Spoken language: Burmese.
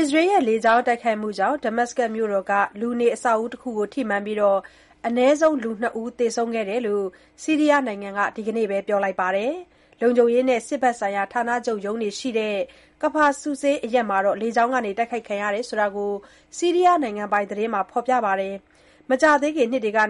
အစ္စရေးရဲ့ လေကြောင်းတိုက်ခိုက်မှုကြောင့် ဒမတ်စကတ်မြို့တော်က လူနေအဆောက်အဦးတခုကို ထိမှန်ခဲ့ပြီး အနည်းဆုံး လူ ၂ ဦး သေဆုံးခဲ့ကြောင်း ဆီးရီးယားနိုင်ငံက ဒီကနေ့ပဲ ပြောလိုက်ပါတယ်။ လုံခြုံရေးနဲ့ စစ်ဘက်ဆိုင်ရာ ဌာနချုပ်ရုံးတွေရှိရာ Kfar Sousseh(ကဖာ ဆူဆေး) အရပ်မှာ လေကြောင်းက တိုက်ခိုက်ခံခဲ့ရကြောင်း ဆီးရီးယားနိုင်ငံပိုင် သတင်းက ဖော်ပြခဲ့တာပါ။ မကြာသေးခင် နှစ်တွေကစ